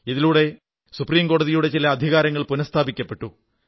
ഇതിലൂടെ സുപ്രീം കോടതിയുടെ ചില അധികാരങ്ങൾ പുനഃസ്ഥാപിക്കപ്പെട്ടു